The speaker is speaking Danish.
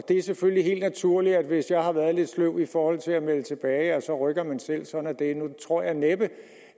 er selvfølgelig helt naturligt at hvis jeg har været lidt sløv i forhold til at melde tilbage rykker man selv sådan er det nu tror jeg næppe